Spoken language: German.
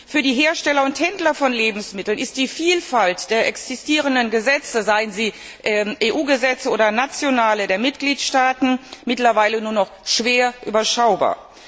Für die Hersteller und Händler von Lebensmitteln ist die Vielfalt der existierenden Gesetze seien es EU Gesetze oder nationale Gesetze der Mitgliedstaaten mittlerweile nur noch schwer überschaubar.